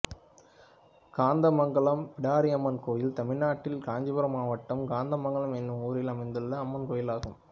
காந்தமங்கலம் பிடாரியம்மன் கோயில் தமிழ்நாட்டில் காஞ்சிபுரம் மாவட்டம் காந்தமங்கலம் என்னும் ஊரில் அமைந்துள்ள அம்மன் கோயிலாகும்